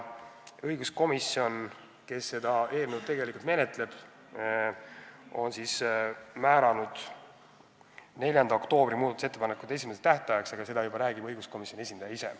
Õiguskomisjon, kes seda eelnõu tegelikult menetleb, on määranud muudatusettepanekute esitamise tähtajaks 4. oktoobri, aga seda juba räägib õiguskomisjoni esindaja ise.